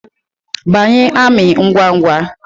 Banye amị ngwa ngwa